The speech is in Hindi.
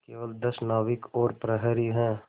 केवल दस नाविक और प्रहरी है